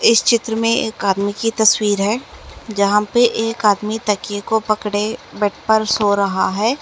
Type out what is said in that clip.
इस चित्र में एक आदमी की तस्वीर है जहां पर एक आदमी तककिए को पकड़े बेड पर सो रहा है।